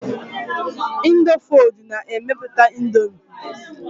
Indofood na-emepụta Indomie.